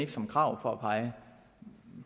ikke som krav for at pege